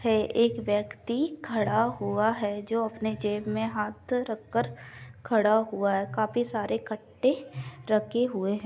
है एक व्यक्ति खड़ा हुआ है जो अपने जेब में हाथ रखकर खड़ा हुआ है काफी सारे कट्ठे रखे हुए हैं।